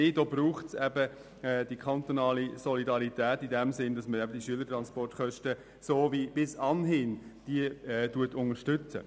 Es braucht die kantonale Solidarität in dem Sinn, dass die Schülertransportkosten wie bis anhin unterstützt werden.